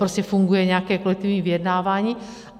Prostě funguje nějaké kolektivní vyjednávání.